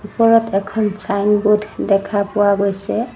ওপৰত এখন ছাইনবোৰ্ড দেখা পোৱা গৈছে।